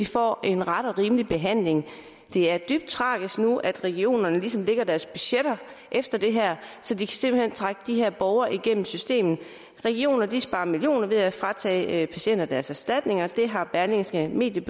får en ret og rimelig behandling det er dybt tragisk at regionerne nu ligesom lægger deres budgetter efter det her så de simpelt hen kan trække de her borgere igennem systemet regionerne sparer millioner af kroner ved at fratage patienter deres erstatninger det har berlingske media